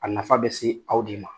A nafa bɛ se aw de ma.